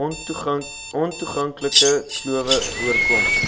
ontoeganklike klowe voorkom